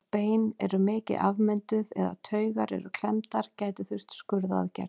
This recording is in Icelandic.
Ef bein eru mikið afmynduð eða taugar eru klemmdar gæti þurft skurðaðgerð.